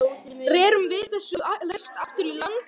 Rerum við þessu næst aftur í land.